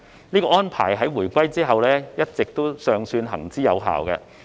這種安排在回歸後一直尚算行之有效。